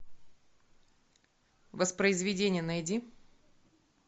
воспроизведение найди